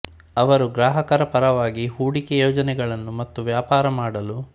ಅವರು ಗ್ರಾಹಕರ ಪರವಾಗಿ ಹೂಡಿಕೆ ಯೋಜನೆಗಳನ್ನು ಮತ್ತು ವ್ಯಾಪಾರ ಮಾಡಲು